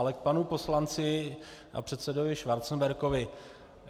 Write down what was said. Ale k panu poslanci a předsedovi Schwarzenbergovi.